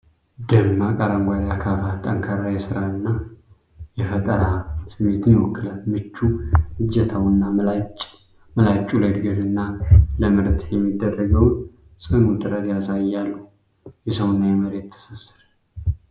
ደማቅ አረንጓዴ አካፋ ጠንካራ የሥራና የፈጠራ ስሜትን ይወክላል። ምቹ እጀታውና ምላጩ ለዕድገትና ለምርት የሚደረገውን ጽኑ ጥረት ያሳያሉ። የሰውና የመሬት ትስስር!